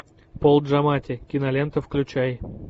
пол джаматти кинолента включай